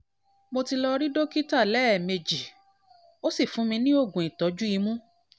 mo ti lọ rí dókítà lẹ́ẹ̀mejì ó sì fún ní oògùn ìtọ́jú imú